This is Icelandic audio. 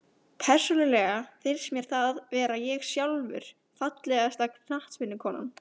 Persónulega finnst mér það vera ég sjálfur Fallegasta knattspyrnukonan?